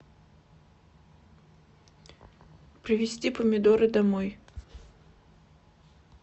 привезти помидоры домой